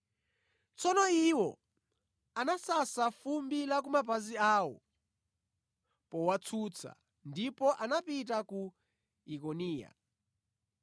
Tsono iwo anasasa fumbi la ku mapazi awo powatsutsa, ndipo anapita ku Ikoniya.